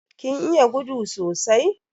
Kin iya gudu sosai?